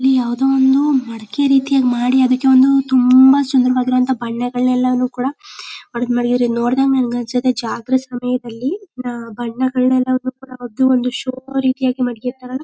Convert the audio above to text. ಇಲ್ಲಿ ಯಾವ್ದೋ ಒಂದು ಮಡಿಕೆ ರೀತಿ ಮಾಡಿ ಅದಕ್ಕೆ ಒಂದು ತುಂಬಾ ಸುಂದರವಾದ ಬಣ್ಣಗಳನ್ನೆಲ್ಲ ಕೂಡ ಮಾಡಿದರೆ ಇದ್ ನೋಡಿದಾಗ ನಂಗೆ ಅನ್ಸುತ್ತೆ ಜಾತ್ರೆ ಸಮಯದಲ್ಲಿ ಬಣ್ಣಗಳನ್ನೆಲ್ಲ ಕೋಟಿಬಿಟ್ಟು ಒಂದು ಶೋ ರೀತಿಯಾಗಿ ಮಡ್ಗಿರ್ತರಲ್ಲ -